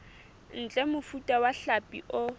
ntle mofuta wa hlapi o